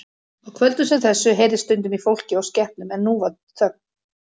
Á kvöldum sem þessu heyrðist stundum í fólki og skepnum en nú var þögn.